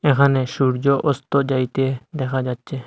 এখানে সূর্য অস্ত যাইতে দেখা যাচ্ছে।